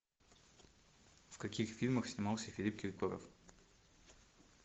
в каких фильмах снимался филипп киркоров